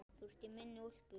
Þú ert í minni úlpu.